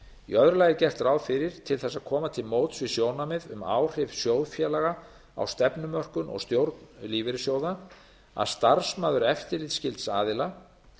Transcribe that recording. í öðru lagi er gert ráð fyrir til þess að koma til móts við sjónarmið um áhrif sjóðfélaga á stefnumörkun og stjórn lífeyrissjóða að starfsmaður eftirlitsskylds aðila